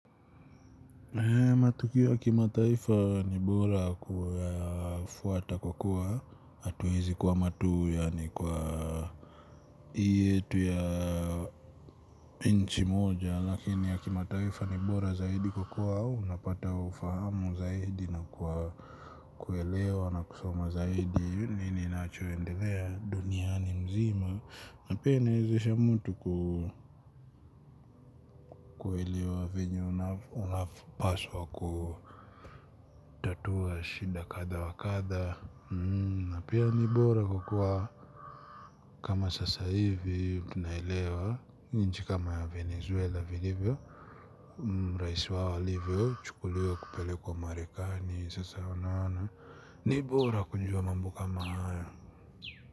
Matukio ya kimataifa ni bora kuyafuata kwa kuwa hatuwezi kwama tuu yaani kwa hii yetu ya inchi moja lakini ya kimataifa ni bora zaidi kwa kuwa unapata ufahamu zaidi na kuelewa na kusoma zaidi nini kinachoendelea duniani mzima. Na pia inawezesha mtu kuelewa venye unavyopaswa kutatua shida kadha wa kadha. Na pia ni bora kukua kama sasa hivi tunaielewa nchi kama ya Venezuela vilivyo. Raisi wao alivyochukuliwa kupelekwa maeakani sasa unaona ni bora ku jua mambo kama haya.